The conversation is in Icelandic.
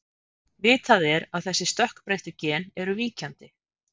Vitað er að þessi stökkbreyttu gen eru víkjandi.